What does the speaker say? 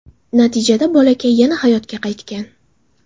Natijada bolakay yana hayotga qaytgan.